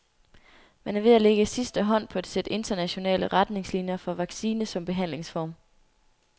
Man er ved at lægge sidste hånd på et sæt internationale retningslinier for vaccine som behandlingsform.